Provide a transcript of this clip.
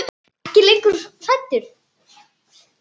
Er ekki hrædd lengur.